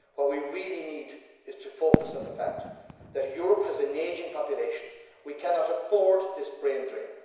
What we really need is to focus on the fact that Europe has an ageing population. We cannot afford this brain drain.